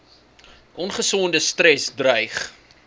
ongesonde stres dreig